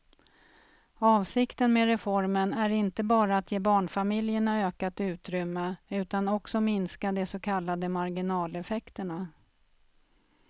Avsikten med reformen är inte bara att ge barnfamiljerna ökat utrymme utan också minska de så kallade marginaleffekterna.